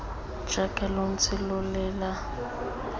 jaaka lo ntse lo lela